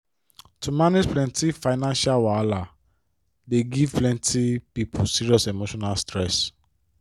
to manage plenty financial wahala dey give plenty people serious emotional stress